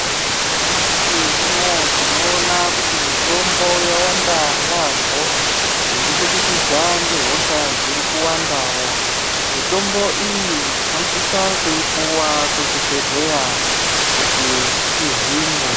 Nyamashe uno tinowona kuti mitombo yawanda yambo, yekubudikidza ngehosha dzirikuwandawo. Mitombo iyi tinosisa kuyipuwa kuzvibhedhleya kuti tihinwe.